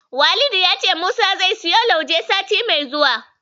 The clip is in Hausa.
Walidi ya ce Musa zai siyo Lauje sati mai zuwa.